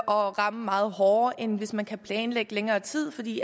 og ramme meget hårdere end hvis man kan planlægge længere tid fordi